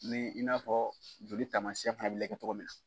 Min in n'a fɔ joli tamasiɛn fana bɛ lajɛ tɔgɔ min na.